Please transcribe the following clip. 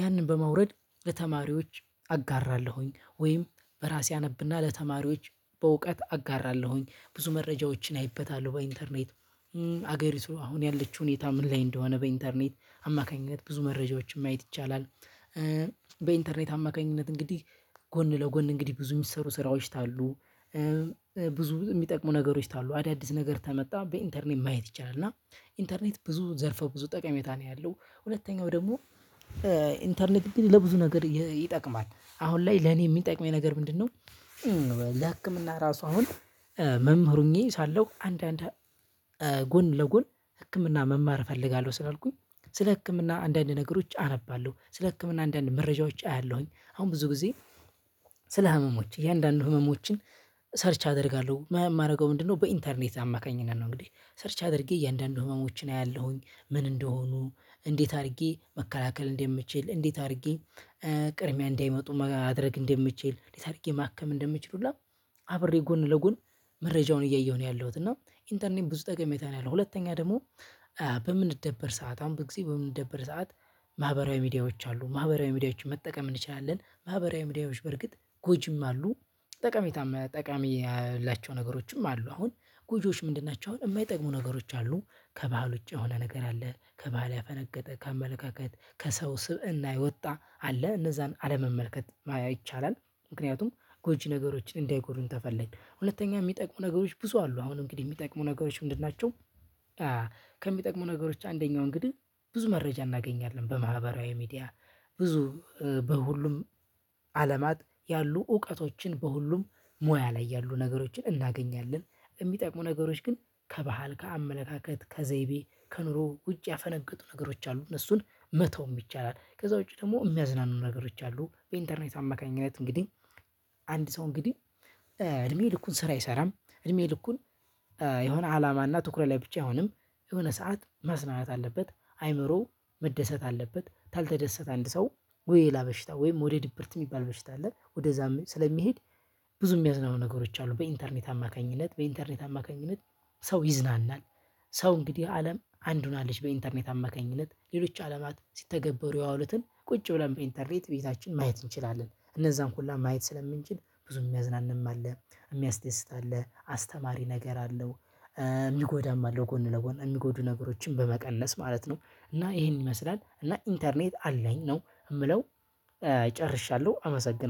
ያንን በማውረድ ለተማሪዎች አጋራለሁኝ ወይም ራሴ አነብና ለተማሪዎች በእውቀት አጋራለሁኝ። ብዙ መረጃዎችን አይበታለሁ በኢንተርኔት ሀገሪቱ አሁን ያለችው ሁኔታ ምን ላይ እንደሆነ በኢንተርኔት አማካኝነት ብዙ መረጃዎችን ማየት ይቻላል። በኢንተርኔት አማካኝነት እንግዲህ ጎን ለጎን እንግዲህ ብዙ የሚሰሩ ስራዎች ታሉ። ብዙ የሚጠቅሙ ነገሮች ታሉ አዳዲስ ነገር ተመጣ በኢንተርኔት ማየት ይቻላል። እና ኢንተርኔት ብዙ ዘርፎ ብዙ ጠቀሜታ ነው ያለው። ሁለተኛው ደግሞ ኢንተርኔት ግን ለብዙ ነገር ይጠቅማል አሁን ላይ ለኔ የሚጠቅመኝ ነገር ምንድነው? ለህክምና ራሱ አሁን መምህር ሁኜ ሳለሁ አንድ አንድ ጎን ለጎን ህክምና መማር እፈልጋለሁ ስላልኩኝ ስለ ህክምና አንዳንድ ነገሮች አነባለሁ ስለ ህክምና አንዳንድ መረጃዎች አያለሁኝ። አሁን ብዙ ጊዜ ስለ ህመሞች እያንዳንዱ ህመሞችን ሰርች አደርጋለሁ የማደርገው ምንድነው? በኢንተርኔት አማካኝነት ነው እንግዲህ ሰርች አድርጌ እያንዳንዱ ህመሞችን አያለሁኝ። ምን እንደሆኑ እንዴት አድርጌ መከላከል እንደምችል እንዴት አድርጌ ቅድሚያ እንዳይመጡ ማድረግ እንደምችል እንዴት አድርጌ ማከም እንደምችል ሁላ አብሬ ጎን ለጎን መረጃውን እያየሁ ነው ያለሁት። እና ኢንተርኔም ብዙ ጠቀሜታ ነው ያለው። ሁለተኛ ደግሞ በምንደበር ሰዓት አሁን በጊዜ በምንደበር ሰዓት ማህበራዊ ሚዲያዎች አሉ ማህበራዊ ሚዲያዎችን መጠቀም እንችላለን ማህበራዊ ሚዲያዎች በርግጥ ጎጂም አሉ። ጠቃሚታም ጠቃሚ ያላቸው ነገሮችም አሉ። አሁን ጉጂዎች ምንድን ናቸው? አሁን የማይጠቅሙ ነገሮች አሉ። ከባህል ውጪ የሆነ ነገር አለ ከባህል ያፈነገጠ ከአመለካከት ከሰው ስብእና የወጣ አለ እነዛን አለመመልከት ይቻላል። ምክንያቱም ጎጂ ነገሮችን እንዳይጎዱን ተፈለግን ሁለተኛ የሚጠቅሙ ነገሮች ብዙ አሉ። አሁን እንግዲህ የሚጠቅሙ ነገሮች ምንድን ናቸው? ከሚጠቅሙ ነገሮች አንደኛው እንግዲህ ብዙ መረጃ እናገኛለን በማህበራዊ ሚዲያ ብዙ በሁሉም አለማት ያሉ እውቀቶችን በሁሉም ሙያ ላይ ያሉ ነገሮችን እናገኛለን። የሚጠቁ ነገሮች ግን ከባህል ከአመለካከት ከዘይቤ ከኑሮ ውጭ ያፈነገጡ ነገሮች አሉ እነሱን መተውም ይቻላል። ከዛ ውጪ ደግሞ የሚያዝናኑ ነገሮች አሉ በኢንተርኔት አማካኝነት እንግዲህ አንድ ሰው እንግዲህ እድሜ ልኩን ስራ አይሰራም። እድሜ ልኩን የሆነ አላማና ትኩረት ላይ ብቻ አይሆንም። የሆነ ሰዓት መዝናናት አለበት። አይምሮው መደሰት አለበት። ካልተደሰት አንድ ሰው ወይ ሌላ በሽታ ወይም ወደ ድብርት የሚባል በሽታ አለ ወደዛም ስለሚሄድ። ብዙ የሚያዝናኑ ነገሮች አሉ በኢንተርኔት አማካኝነት በኢንተርኔት አማካኝነት ሰው ይዝናናል። ሰው እንግዲህ አለም አንድ ሆናለች በኢንተርኔት አማካኝነት ሌሎች አለማት ሲተገበሩ የዋሉትን ቁጭ ብለን በኢንተርኔት ቤታችን ማየት እንችላለን እነዛን ሁላ ማየት ስለምንችል ብዙም እምያዝናነም አለ። እምያስደስት አለ አስተማሪ ነገር አለው። የሚጎዳም አለው ጎን ለጎን የሚጎዱ ነገሮችን በመቀለስ ማለት ነው። እና ይሄን ይመስላል እና ኢንተርኔት አለኝ ነው የምለው። ጨርሻለሁ አመሰግናለሁ